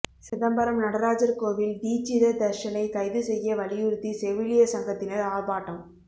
சிதம்பரம் நடராஜர் கோவில் தீட்சிதர் தர்ஷனை கைது செய்ய வலியுறுத்தி செவிலியர் சங்கத்தினர் ஆர்ப்பாட்டம்